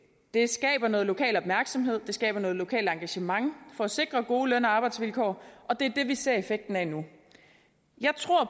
det skaber noget lokal opmærksomhed det skaber noget lokalt engagement for at sikre gode løn og arbejdsvilkår og det er det vi ser effekten af nu jeg tror